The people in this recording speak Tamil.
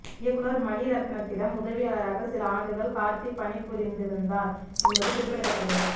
இயக்குனர் மணிரத்னத்திடம் உதவியாளராக சில ஆண்டுகள் கார்த்தி பணிபுரிந்திருந்தார் என்பது குறிப்பிடத்தக்கது